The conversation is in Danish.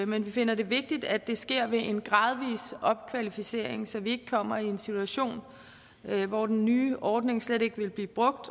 men vi finder det vigtigt at det sker ved en gradvis opkvalificering så vi ikke kommer i en situation hvor den nye ordning slet ikke vil blive brugt